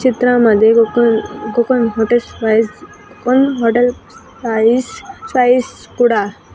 चित्रामध्ये दुकान दुकान hotel spice hotel spice spice कुडा --